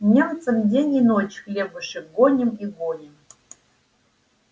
немцам день и ночь хлебушек гоним и гоним